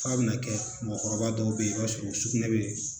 F'a bɛna kɛ mɔgɔkɔrɔba dɔw bɛ yen i b'a sɔrɔ sugunɛ bɛ